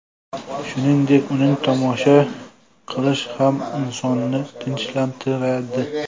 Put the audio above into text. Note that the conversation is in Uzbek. Shuningdek, uni tomosha qilish ham insonni tinchlantiradi”.